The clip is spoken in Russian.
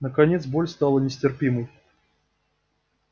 наконец боль стала нестерпимой